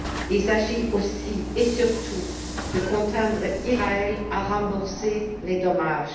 Il s'agit aussi et surtout de contraindre Israël à rembourser les dommages.